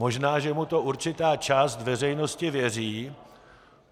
Možná že mu to určitá část veřejnosti věří.